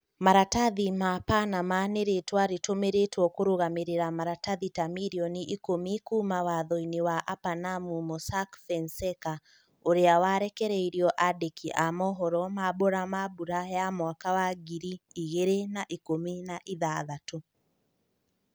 Maratathi ma Panama nĩ rĩtwa rĩtũmĩrĩtwo kũrũgamĩrĩra maratathi ta mirioni ikũmi kuuma wathoinĩ wa apanamu Mossack Fonseca, ũrĩa warekereirio andĩki a mohoro mambura ma bura ya mwaka wa ngiri igĩrĩ na ikũmi na ithathatũ.